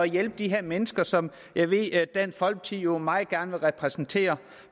hjælpe de her mennesker som jeg ved at dansk folkeparti jo meget gerne vil repræsentere